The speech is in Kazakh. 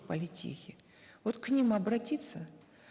в политехе вот к ним обратиться